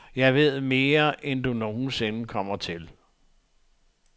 Jeg ved mere, end du nogen sinde kommer til.